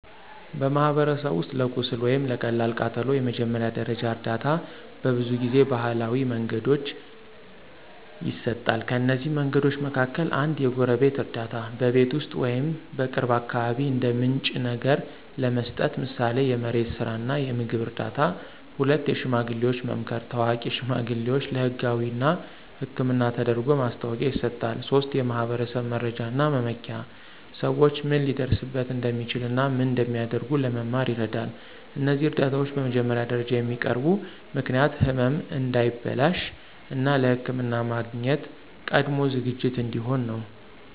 በማኅበረሰብ ውስጥ ለቁስል ወይም ለቀላል ቃጠሎ የመጀመሪያ ደረጃ እርዳታ በብዙ ጊዜ ባህላዊ መንገዶች ይሰጣል። ከእነዚህ መንገዶች መካከል፦ 1. የጎረቤት እርዳታ – በቤት ውስጥ ወይም በቅርብ አካባቢ እንደ ምንጭ ነገር ለመስጠት፣ ምሳሌ የመሬት ስራ እና የምግብ እርዳታ። 2. የሽማግሌዎች መምከር – ታዋቂ ሽማግሌዎች ለህጋዊ እና ሕክምና ተደርጎ ማስታወቂያ ይሰጣሉ። 3. የማኅበረሰብ መረጃ እና መመኪያ – ሰዎች ምን ሊደርስበት እንደሚችል እና ምን እንደሚያደርጉ ለመማር ይረዳል። እነዚህ እርዳታዎች በመጀመሪያ ደረጃ የሚያቀርቡ ምክንያት ህመም እንዳይበላሽ፣ እና ለሕክምና ማግኘት ቀድሞ ዝግጅት እንዲሆን ነው።